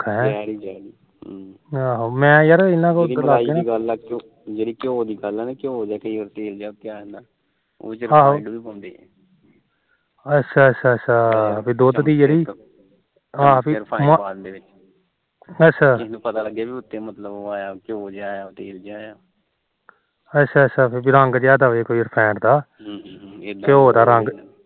ਅੱਛਾ ਅੱਛਾ ਪਿ ਰੰਗ ਜਾ ਦਬੇ ਰਫੇਂਡ ਦਾ ਘਿਉ ਦਾ